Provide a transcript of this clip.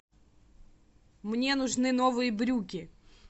мне нужны новые брюки